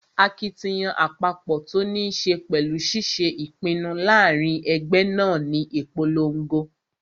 Akitiyan àpapọ̀ tó ní ṣe pẹ̀lú ṣiṣé ìpinnu láàrin ẹgbẹ́ náà ní ìponlogo